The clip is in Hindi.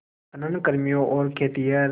खनन कर्मियों और खेतिहर